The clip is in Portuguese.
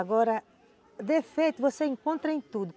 Agora, defeito você encontra em tudo.